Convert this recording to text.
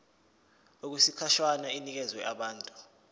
okwesikhashana inikezwa abantu